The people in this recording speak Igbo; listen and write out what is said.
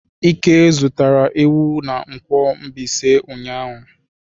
Ike zụtara ewu na nkwo Mbaise ụnyahụ.